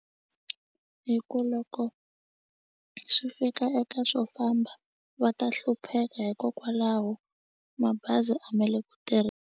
Hi ku loko swi fika eka swo famba va ta hlupheka hikokwalaho mabazi a me le ku .